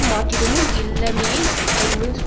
மாற்றீடும் இல்லாமையையே ஐமசுமு